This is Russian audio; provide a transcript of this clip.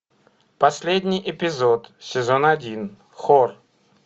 последний эпизод сезон один хор